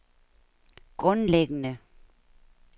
grundlæggende